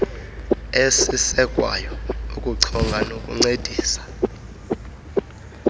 ezisekwayo ukuchonga nokuncedisa